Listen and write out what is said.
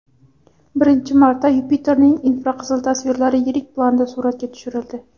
Birinchi marta Yupiterning infraqizil tasvirlari yirik planda suratga tushirildi.